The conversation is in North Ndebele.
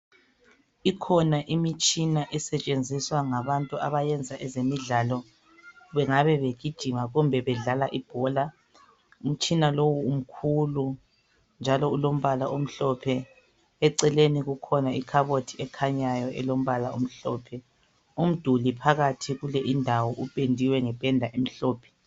ikhona imitshina esetshenziswa ngabantu abayenza ezemidlalo bengabe begijima kumbe bedlala ibhola umtshina lowu umkhulu njalo ulombala omhlophe eceleni kukhona ikhabothi ekhanyayo elombala omhlophe umduli phakathi kule indawo upendiwe ngependa emhlophe